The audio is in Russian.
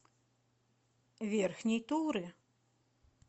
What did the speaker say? верхней туры